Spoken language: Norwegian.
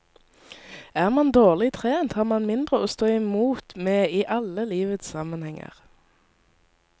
Er man dårlig trent, har man mindre å stå imot med i alle livets sammenhenger.